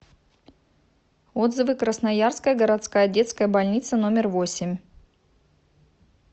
отзывы красноярская городская детская больница номер восемь